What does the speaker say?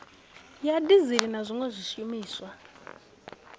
ya dizili na zwiwe zwishumiswa